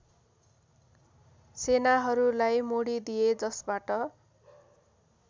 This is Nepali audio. सेनाहरूलाई मोडिदिए जसबाट